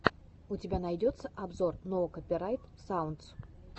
у тебя найдется обзор ноу копирайт саундс